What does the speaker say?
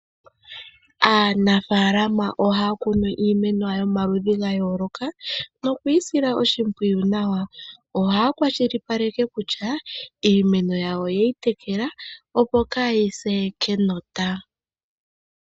Aanafaalama ohaya kunu iimeno yawo yomaludhi gayooloka nokuyisila oshimpwiyu nawa, ohaya kwashilipaleka kutya iimeno yawo oyeyi tekela opo kayise kenota.